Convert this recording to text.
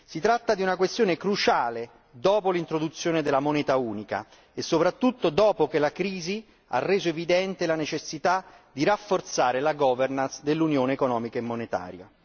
Si tratta di una questione cruciale dopo l'introduzione della moneta unica e soprattutto dopo che la crisi ha reso evidente la necessità di rafforzare la governance dell'unione economica e monetaria.